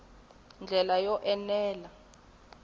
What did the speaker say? ndlela yo enela ku ya